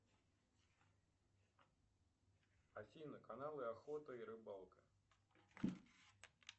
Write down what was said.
афина каналы охота и рыбалка